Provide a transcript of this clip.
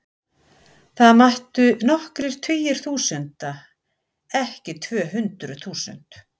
Það mættu nokkrir tugir þúsunda, ekki tvö hundruð þúsund.